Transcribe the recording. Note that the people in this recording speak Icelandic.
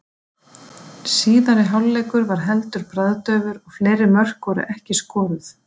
Síðari hálfleikur var heldur bragðdaufur og fleiri mörk voru ekki skoruð.